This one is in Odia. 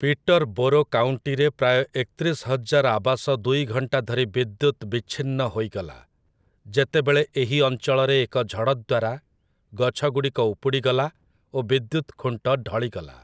ପିଟର୍ ବୋରୋ କାଉଣ୍ଟିରେ ପ୍ରାୟ ଏକତିରିଶ ହଜାର ଆବାସ ଦୁଇ ଘଣ୍ଟା ଧରି ବିଦ୍ୟୁତ୍ ବିଚ୍ଛିନ୍ନ ହୋଇଗଲା, ଯେତେବେଳେ ଏହି ଅଞ୍ଚଳରେ ଏକ ଝଡ଼ଦ୍ଵାରା ଗଛଗୁଡ଼ିକ ଉପୁଡ଼ି ଗଲା ଓ ବିଦ୍ୟୁତ ଖୁଣ୍ଟ ଢଳିଗଲା ।